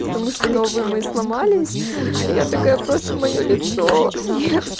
потому что новый мы сломались я такая просто моё лицо нет